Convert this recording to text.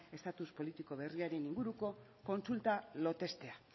estatus politiko berriaren inguruko kontsulta lotestea